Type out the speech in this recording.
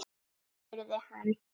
spurði hann